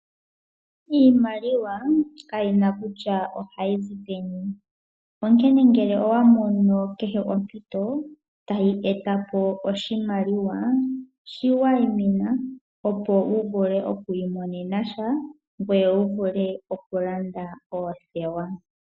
Iimaliwa kayina kutya ohayi zi peni onkene ngele owa mono kehe ompito tayi etapo oshimaliwa shiwayimina, opo wu vule okwiimonena sha gweye wu vule okulanda oothewa.